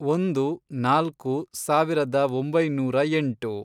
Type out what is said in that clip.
ಒಂದು, ನಾಲ್ಕು, ಸಾವಿರದ ಒಂಬೈನೂರ ಎಂಟು